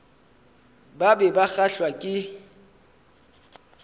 ba be ba kgahlwa ke